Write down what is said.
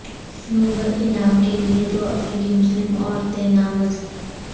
Nobel انعام کے لئے دو افریقی مسلم عورتیں نامزد